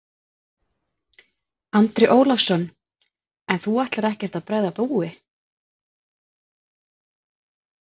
Andri Ólafsson: En þú ætlar ekkert að bregða búi?